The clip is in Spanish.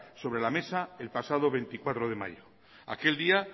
sobre la mesa el pasado veinticuatro de mayo aquel día